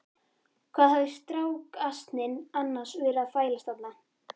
Hvað hafði strákasninn annars verið að þvælast þarna?